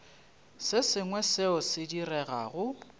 se sengwe seo se diregago